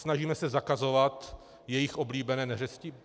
Snažíme se zakazovat jejich oblíbené neřesti?